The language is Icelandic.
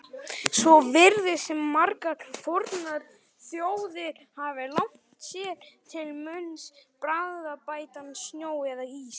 Svo virðist sem margar fornar þjóðir hafi lagt sér til munns bragðbættan snjó eða ís.